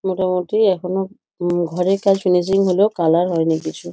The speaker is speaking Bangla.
মোটামুটি এখনও ঘরের কাজ ফিনিশিং হলেও কালার হয়নি কিছু।